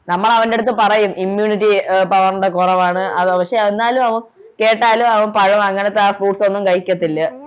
നമ്മളവൻ്റെ അടുത്ത് പറയും immunity ആഹ് power ൻ്റെ കൊറവാണു പക്ഷെ എന്നാലും അവൻ കേട്ടാലും അവൻ പഴം അങ്ങനത്തെ ആ fruits ഒന്നും കഴിക്കത്തില്ല